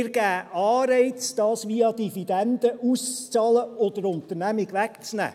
Und wir geben Anreize, dies via Dividenden auszuzahlen und der Unternehmung wegzunehmen.